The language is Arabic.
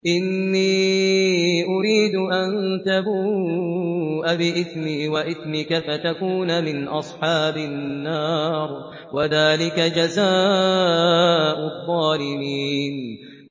إِنِّي أُرِيدُ أَن تَبُوءَ بِإِثْمِي وَإِثْمِكَ فَتَكُونَ مِنْ أَصْحَابِ النَّارِ ۚ وَذَٰلِكَ جَزَاءُ الظَّالِمِينَ